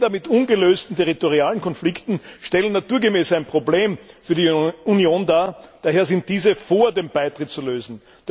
Länder mit ungelösten territorialen Konflikten stellen naturgemäß ein Problem für die Union dar, daher sind diese vor dem Beitritt zu lösen.